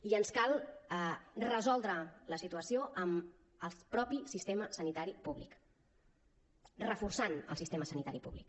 i ens cal resoldre la situació amb el mateix sistema sanitari públic reforçant el sistema sanitari públic